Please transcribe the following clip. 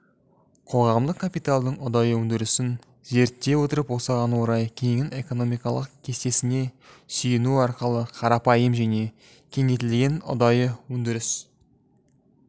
қоғамдық капиталдың ұдайы өндірісін зерттей отырып осыған орай кэненің экономикалық кестесіне сүйену арқылы қарапайым және кеңейтілген ұдайы өндіріс